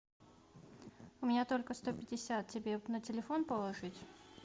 у меня только сто пятьдесят тебе на телефон положить